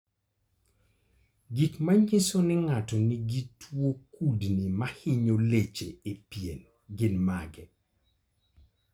Gik manyiso ni ng'ato nigi tuwo kudni mahinyo leche e pien gin mage?